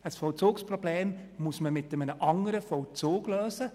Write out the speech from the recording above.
Ein solches muss man mit einem anderen Vollzug lösen.